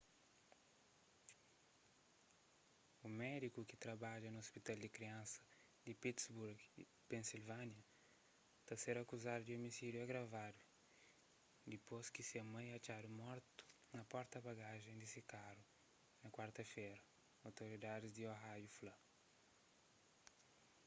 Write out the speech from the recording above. un médiku ki trabadjaba na ôspital di kriansa di pittsburgh pennsylvania ta ser akuzadu di omisídiu agravadu dipôs ki se mai atxadu mortu na porta-bagajens di se karu na kuarta-fera otoridadis di ohio fla